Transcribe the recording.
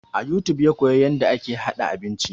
A youtube ya koya yarda ake haɗa abinci